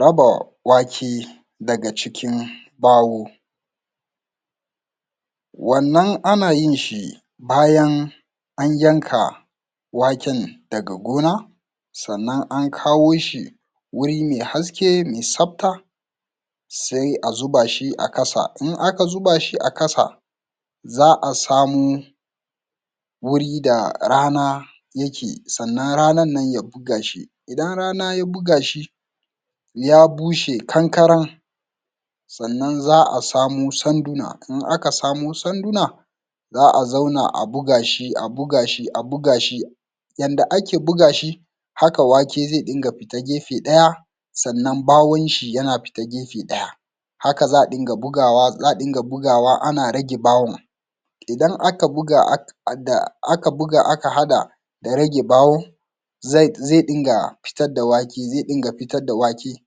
raba wake daga cikin bawo wannan ana yin shi bayan an yanka waken daga gona sannan an kawo shi wuri mai haske mai safta sai a zuba shi a kasa in aka zuba shi a kasa za a samo wuri da rana yake sannan ranan nan ya buga shi idan rana ya buga shi ya bushe kankaran sannan za a samo sanduna in aka samo sanduna za a zauna a buga shi a buga shi a buga shi yanda ake buga shi haka wake zai dinga fita gefe ɗaya sannan bawon shi yana fita gefe ɗaya haka za a dinga bugawa ana bugawa ana rage bawon idan aka buga aka haɗa ya rage bawo zai dinga fitar da wake zai dinga fitar da wake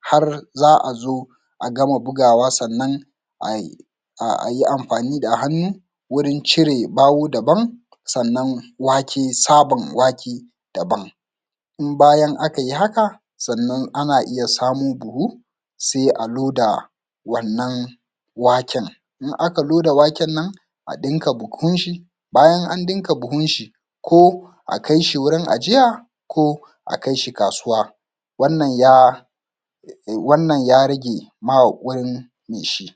har za a zo a gama bugawa sannan ay a yi amfani da hannu gurin cire bawo daban sannan wake saban wake daban in bayan aka yi haka sannan ana iya samo buhu sai a loda wannan waken in aka loda waken nan a ɗinke buhun shi bayan an dinke buhun shi ko a kai shi wurin ajiya ko a kai shi kasuwa wannan ya wannan rage ma wani ne shi